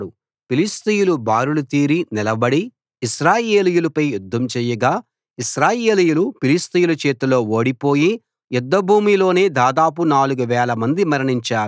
ఫిలిష్తీయులు బారులు తీరి నిలబడి ఇశ్రాయేలీయులపై యుద్ధం చేయగా ఇశ్రాయేలీయులు ఫిలిష్తీయుల చేతిలో ఓడిపోయి యుద్ధభూమిలోనే దాదాపు నాలుగు వేలమంది మరణించారు